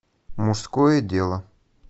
мужское дело